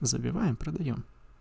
забиваем продаём